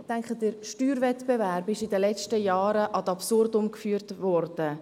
Ich denke, dass der Steuerwettbewerb in den letzten Jahren ad absurdum geführt wurde.